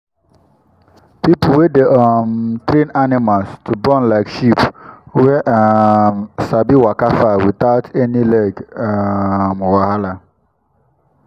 people wey dey um train animals to born like sheep wey um sabi waka far without any leg um wahala.